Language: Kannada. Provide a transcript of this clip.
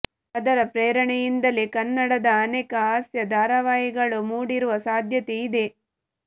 ಅದರ ಪ್ರೇರಣೆಯಿಂದಲೇ ಕನ್ನಡದ ಅನೇಕ ಹಾಸ್ಯ ಧಾರಾವಾಹಿಗಳೂ ಮೂಡಿರುವ ಸಾಧ್ಯತೆ ಇದೆ